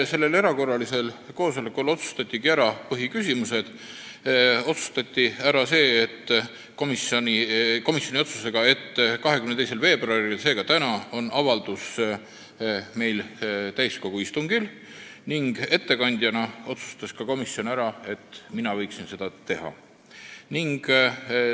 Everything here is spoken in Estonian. Sellel erakorralisel koosolekul otsustatigi ära põhiküsimused: 22. veebruaril, seega täna on avaldus meil täiskogu istungil ning ettekande võiksin teha mina.